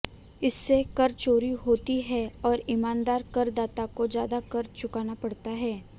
इससे कर चोरी होती है और ईमानदार करदाता को ज्यादा कर चुकाना पड़ता है